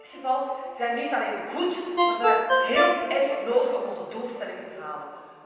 Wel, in dit geval zijn regels niet alleen goed, maar ook heel erg nodig om onze doelstellingen te halen.